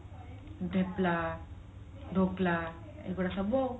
ଧେପଲା ଧୋକଲା ଏଇଗୋଡା ସବୁ ଆଉ